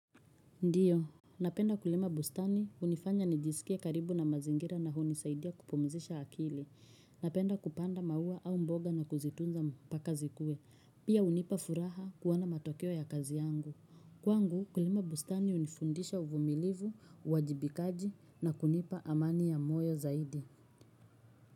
Ndio. Napenda kulima bustani unifanya nijisikie karibu na mazingira na hunisaidia kupumzisha akili. Napenda kupanda maua au mboga na kuzitunza mpaka zikue. Pia unipa furaha kuona matokeo ya kazi yangu. Kwangu, kulima bustani unifundisha uvumilivu, uwajibikaji na kunipa amani ya moyo zaidi.